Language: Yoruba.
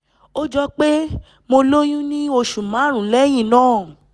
ó jọ pé mo lóyún ní oṣù márùn-ún lẹ́yìn náà